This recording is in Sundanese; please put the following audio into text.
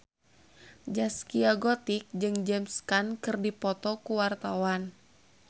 Zaskia Gotik jeung James Caan keur dipoto ku wartawan